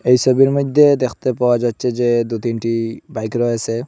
এই সোবির মইদ্যে দেখতে পাওয়া যাচ্ছে যে দু তিনটি বাইক রয়েসে।